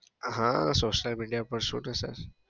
હા social media પારછું ને sir.